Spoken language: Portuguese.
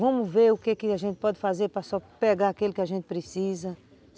Vamos ver o que a gente pode fazer para só pegar aquele que a gente precisa.